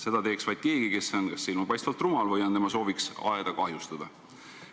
Seda teeks vaid keegi, kes on kas silmapaistvalt rumal või on tema sooviks aeda kahjustada.